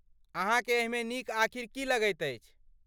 अहाँकेँ एहिमे नीक आखिर की लगैत अछि?